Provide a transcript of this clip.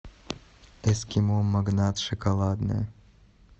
эскимо магнат шоколадное